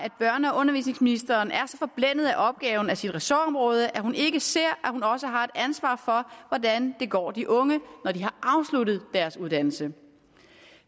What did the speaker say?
og undervisningsministeren er så forblændet af opgaven i sit ressortområde at hun ikke ser at hun også har et ansvar for hvordan det går de unge når de har afsluttet deres uddannelse